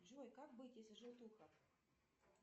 джой как быть если желтуха